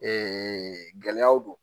gɛlɛyaw do